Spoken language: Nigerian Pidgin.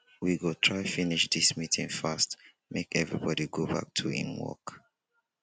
we go try finish dis meeting fast make everybodi go back to im work